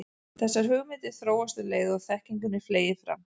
Þessar hugmyndir þróast um leið og þekkingunni fleygir fram.